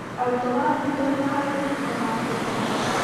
Arutwo maranyitanĩra harĩ gũtunga maandĩko